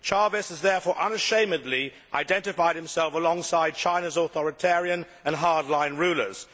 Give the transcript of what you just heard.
Chávez has, therefore unashamedly identified himself alongside China's authoritarian and hard line rulers.